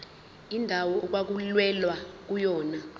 indawo okwakulwelwa kuyona